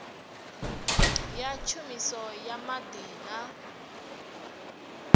ya tshumiso ya maḓi na